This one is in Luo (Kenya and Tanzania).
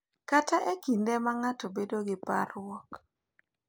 Kata e kinde ma ng’ato bedo gi parruok.